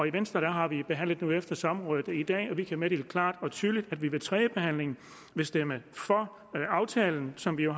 i venstre har vi behandlet det nu efter samrådet i dag og vi kan meddele klart og tydeligt at vi ved tredjebehandlingen vil stemme for aftalen som vi jo